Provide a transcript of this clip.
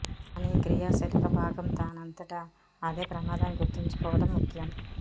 కానీ ఈ క్రియాశీలక భాగం దానంతట అదే ప్రమాదాన్ని గుర్తుంచుకోవడం ముఖ్యం